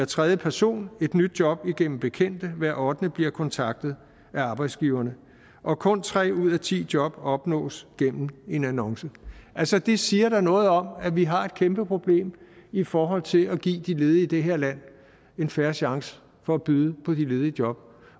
tredje person et nyt job igennem bekendte hver ottende bliver kontaktet af arbejdsgiverne og kun tre ud af ti job opnås gennem en annonce altså det siger da noget om at vi har et kæmpe problem i forhold til at give de ledige i det her land en fair chance for at byde på de ledige job